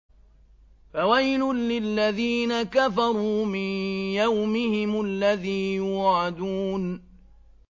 فَوَيْلٌ لِّلَّذِينَ كَفَرُوا مِن يَوْمِهِمُ الَّذِي يُوعَدُونَ